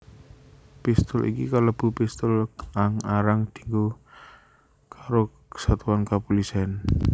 Pistul iki kalebu pistul kang arang dianggo karo satuan kapulisèn